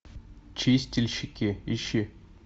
чистильщики ищи